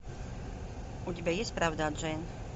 у тебя есть правда о джейн